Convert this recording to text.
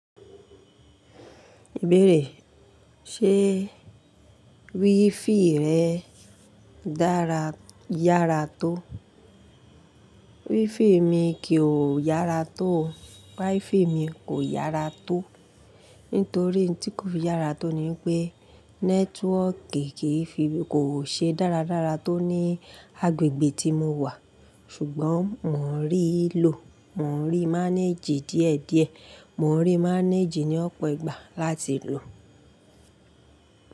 Ìbéèrè, ṣe wifi rẹ dára yára tó? Wifi mi kìí ò yára tó. Wifi mi kò yára tó. Nítorí ohun tí kò fi yára tó ni pé networki kìí fi kò ṣe dáradára tó ní agbègbè tí mo wà. Ṣùgbọ́n mò ń rí í lò, mò ń rí í manage díẹ̀díẹ̀. Mò ń rí í manage ní ọ̀pọ̀ ìgbà láti lò.